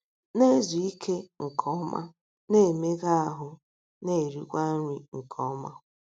Na - ezu ike nke ọma, na - emega ahụ́, na - erikwa nri nke ọma.